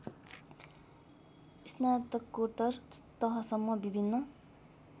स्नातकोत्तर तहसम्म विभिन्न